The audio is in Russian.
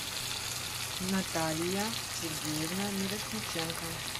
наталья сергеевна мирошниченко